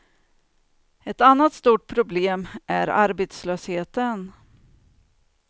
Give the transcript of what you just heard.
Ett annat stort problem är arbetslösheten.